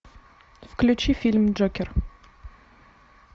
включи фильм джокер